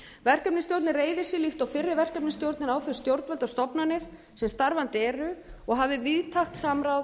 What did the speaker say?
reiðir sig líkt og fyrri verkefnisstjórnir á þau stjórnvöld og stofnanir sem starfandi eru og hafi víðtækt samráð